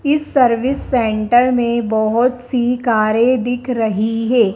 इस service centre में बहोत सी कारें दिख रही है।